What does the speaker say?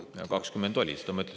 2020 oli, seda ma ütlesin.